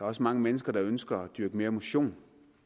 også mange mennesker der ønsker at dyrke mere motion